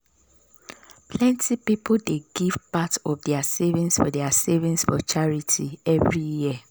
plenty people dey give part of their savings for their savings for charity every year.